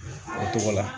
O tɔgɔ la